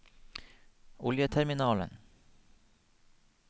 oljeterminalen